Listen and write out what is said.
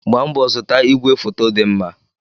Gbaa mbọ zụta ìgwè foto dị mma!